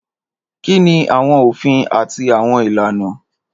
Kini awọn ofin ati awọn ilana?